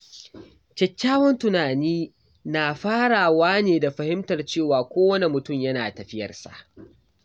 Kyakkyawan tunani yana farawa ne da fahimtar cewa kowane mutum yana tafiyarsa.